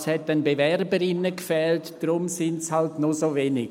«Ja, es hat an Bewerberinnen gefehlt, daher sind es halt nur so wenige.»